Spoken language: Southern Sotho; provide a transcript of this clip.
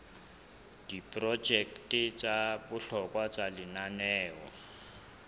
diprojeke tsa bohlokwa tsa lenaneo